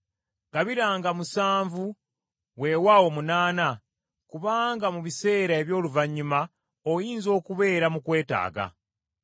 Gabiranga musanvu weewaawo munaana, kubanga mu biseera eby’oluvannyuma oyinza okubeera mu kwetaaga.